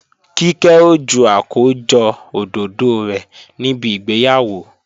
Kíkẹ́ ó ju àkójọ òdòdó rẹ̀ níbi ìgbéyàwó